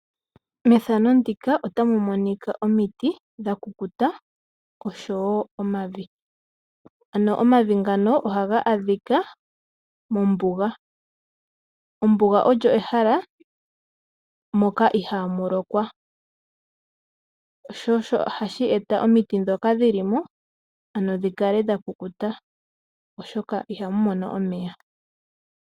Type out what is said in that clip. Omiti dhakukuta nomavi ohaga adhika mombuga. Ombuga olyo ehala moka ihaamu lokwa osho hashi etitha omiti dhoka dhilimo dhikale dhakukuta oshoka ihadhi mono omeya.